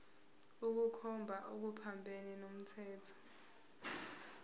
ukukhomba okuphambene nomthetho